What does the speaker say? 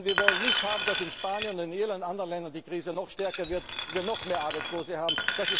Denn wir wollen nicht, dass in Spanien und in Irland und anderen Ländern die Krise noch stärker wird, wir noch mehr Arbeitslose haben.